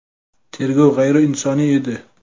Tergov g‘ayriinsoniy edi.